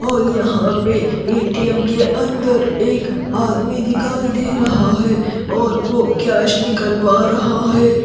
और यहाँ पे ए_ टी_ एम् के अंदर एक आदमी दिखाई दे रहा है और वो कॅश निकलवा रहा है।